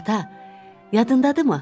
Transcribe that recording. Ata, yadındadırımı?